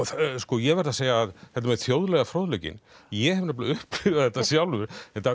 ég verð að segja að þetta með þjóðlega fróðleikinn ég hef nefnilega upplifað þetta sjálfur